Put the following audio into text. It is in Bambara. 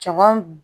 Caman